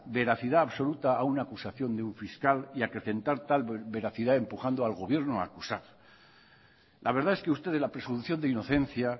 veracidad absoluta a una acusación de un fiscal y acrecentar tal veracidad empujando al gobierno a acusar la verdad es que usted la presunción de inocencia